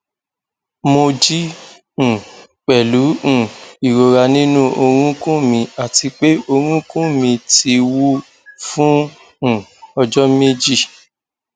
mo jí um pẹlú um ìrora nínú orúnkún mi àti pé orúnkún mi ti wú fún um ọjọ méjì